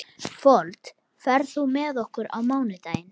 Fold, ferð þú með okkur á mánudaginn?